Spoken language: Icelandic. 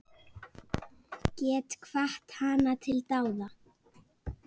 Get hvatt hana til dáða.